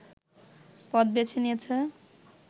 পথ বেছে নিয়েছে